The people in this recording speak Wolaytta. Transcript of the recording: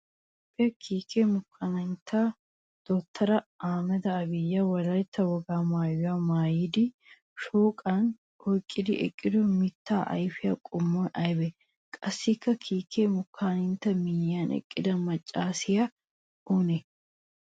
Toophphiyaa kiike moconantti dottoriya Ahmada Abiyi Wolaytta wogaa maayuwaa maayidi shooqan oyqqidi eqqido mittaa ayfiyaa qommoy aybee? Qassikka kiike moconanttu miyyiyan eqqida maccaasiyaa oonee?